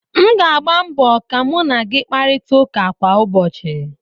m ga-agba mbọ ka mu na gị kparịta ụka kwa ụbọchị